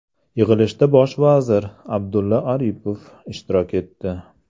Yig‘ilishda bosh vazir Abdulla Aripov ishtirok etdi.